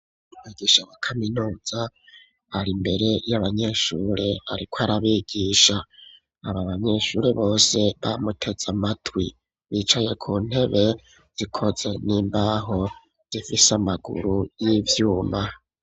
Umwigisha wa kaminuza ari mbere y'abanyeshuri ariko arabigisha aba banyeshuri bose bamutetze amatwi bicaye ku ntebe zikoze n'imbaho zifise amaguru y'ivyuma .